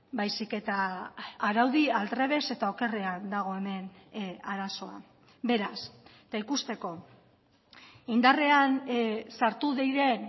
baizik eta araudi aldrebes eta okerrean dago hemen arazoa beraz eta ikusteko indarrean sartu diren